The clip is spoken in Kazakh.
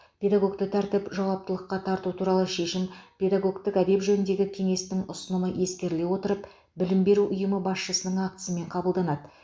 педагогті тәртіп жауаптылыққа тарту туралы шешім педагогтік әдеп жөніндегі кеңестің ұсынымы ескеріле отырып білім беру ұйымы басшысының актісімен қабылданады